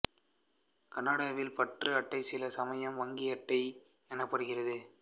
கனாடாவில் பற்று அட்டை சில சமயம் வங்கி அட்டை எனப்படுகிறது